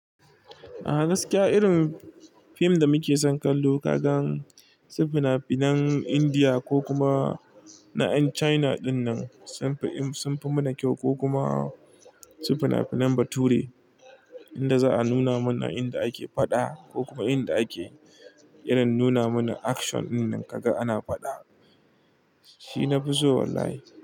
A gaskiya irin fim da muke son kallo kagan su fina-finan Indiya ko kuma na ƴan China dinnan sunfi im-- sunfi mana kyau ko kuma su fina-finan bature inda za a nuna mana inda ake faɗa ko kuma inda ake irin nuna mana action dinnan kaga ana faɗa. Shi na fi so wallahi.